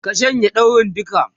ka shanye daurin duka!